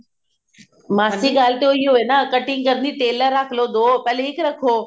ਮਾਸੀ ਗੱਲ ਤੇ ਉਹੀ ਹੋਈ ਨਾ cutting ਕਰਨ ਲਈ tailor ਰੱਖ ਲੋ ਪਹਿਲੇ ਇੱਕ ਰੱਖੋ